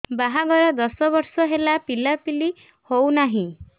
ବାହାଘର ଦଶ ବର୍ଷ ହେଲା ପିଲାପିଲି ହଉନାହି